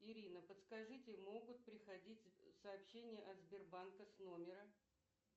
ирина подскажите могут приходить сообщения от сбербанка с номера